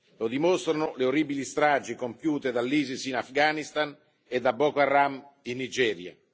lo dimostrano le orribili stragi compiute dall'ISIS in Afghanistan e da Boko Haram in Nigeria.